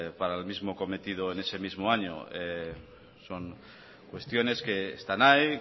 para el mismo cometido en ese mismo año son cuestiones que están ahí